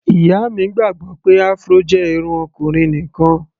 Ìyá mi gbàgbọ́ pé Afro jẹ́ irun ọkùnrin nìkan.